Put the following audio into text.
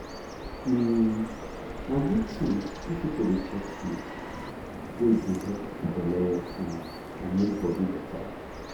um na good thing if people dey chop food wey dey help belle work fine and make body better.